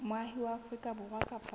moahi wa afrika borwa kapa